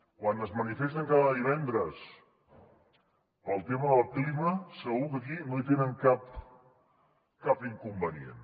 quan es manifesten cada divendres pel tema del clima segur que aquí no hi tenen cap inconvenient